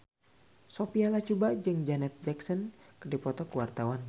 Sophia Latjuba jeung Janet Jackson keur dipoto ku wartawan